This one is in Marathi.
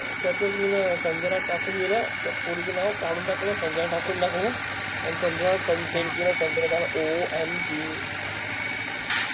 तर मिन संजना टाकून दिलं त्या पोरीचं नाव काडून टाकला, संजना टाकून टाकलं आन संजना send ला केला, संजना OMG